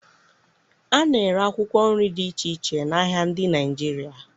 A na-ere akwụkwọ nri dị iche iche n'ahịa ndị Naịjirịa